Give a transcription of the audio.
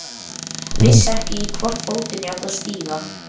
Vissi ekki í hvorn fótinn ég átti að stíga.